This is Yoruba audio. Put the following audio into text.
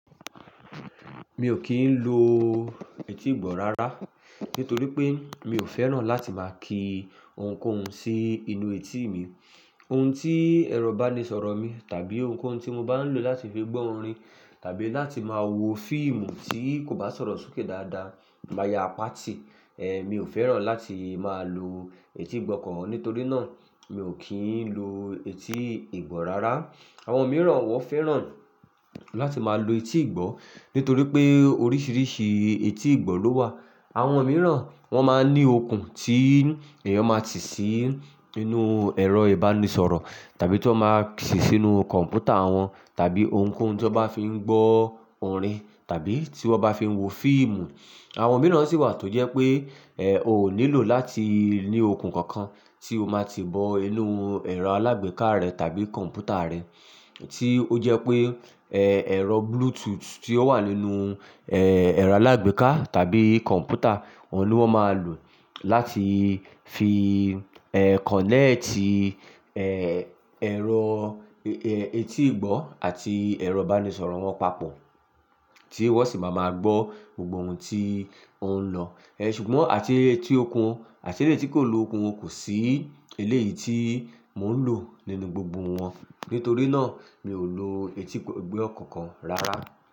Mi ò kí ń lo etí ìgbọ́ rárá nítorí pé mi ò fẹ́ràn láti máa ki ohunkóhun sí inú etí mi. Ohun tí ẹ̀rọ ìbánisọ̀rọ̀ mi tàbí ohunkóhun tí mo bá ń lò láti fi gbọ́ orin tàbí láti máa wo fíìmù tí kò bá sọ̀rọ̀ sókè dáadáa máa ya páàtì. Ehn, mi ò fẹ́ràn láti máa lo etí ìgbọ́ kan. Nítorí náà, mi ò kí ń lo etí ìgbọ́ rárá. Àwọn mìíràn wọn fẹ́ràn láti máa lo etí ìgbọ́ nítorí pé oríṣiríṣi etí ìgbọ́ ló wà. Àwọn mìíràn wọn máa ń ní okùn tí èèyàn máa ti sí inú ẹ̀rọ ìbánisọ̀rọ̀ tàbí tí wọ́n máa sì sínú kọ̀m̀pútà wọn tàbí ohunkóhun tí wọ́n bá fi ń gbọ́ orin tàbí tí wọ́n bá fi ń wo fíìmù. Àwọn mìíràn sì wà tó jẹ́ pé, eh, o ò nílò láti ní okùn kankan tí o máa ti bọ́ inú ẹ̀rọ alágbèéká rẹ tàbí kọ̀m̀pútà rẹ tí ó jẹ́ pé, eh, ẹ̀rọ Bluetooth tí ó wà nínú, eh, ẹ̀rọ alágbèéká tàbí kọ̀m̀pútà, wọn ló máa lò láti fi, eh, connect, eh, ẹ̀rọ, eh, etí ìgbọ́ àti ẹ̀rọ ìbánisọ̀rọ̀ wọn papọ̀ tí wọ́n sì máa ma gbọ́ gbogbo ohun tí ó ń lọ. Eh, ṣùgbọ́n àti etí okùn àti etí tí kò lo okùn, wọn kò sí eléyìí tí mò ń lò nínú gbogbo wọn. Nítorí náà, mi ò lo etí ìgbọ́ kankan rárá.